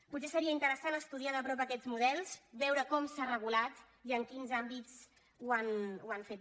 potser seria interessant estudiar de prop aquests models veure com s’ha regulat i en quins àmbits ho han fet